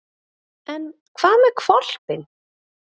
En hvað með hvolpinn?